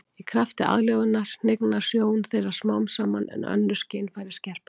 Í krafti aðlögunar hnignar sjón þeirra smám saman en önnur skynfæri skerpast.